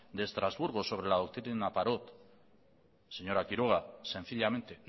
de estrasburgo sobre la doctrina parot señora quiroga sencillamente